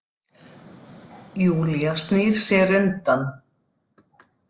Júlía snýr sér undan.